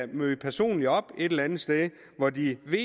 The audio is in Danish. møde personligt op et eller andet sted hvor de ved